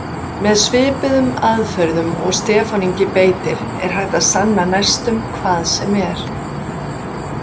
Með svipuðum aðferðum og Stefán Ingi beitti er hægt að sanna næstum hvað sem er.